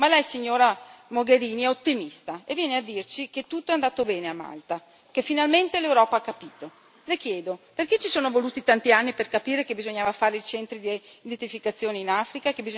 Ma lei, signora Mogherini, è ottimista e viene a dirci che tutto è andato bene a Malta, che finalmente l'Europa ha capito. Le chiedo perché ci sono voluti tanti anni per capire che bisognava fare i centri di identificazione in Africa?